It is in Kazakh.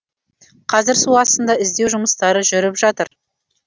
қазір су астында іздеу жұмыстары жүріп жатыр